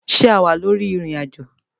Ṣe a wa lori irin-ajo?